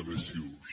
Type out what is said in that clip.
eleccions